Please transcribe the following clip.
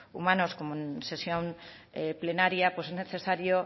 humanos como en sesión plenaria pues es necesario